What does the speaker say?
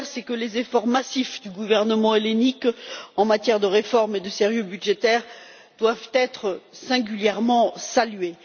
La première, c'est que les efforts massifs du gouvernement hellénique en matière de réformes et de sérieux budgétaire doivent être singulièrement salués.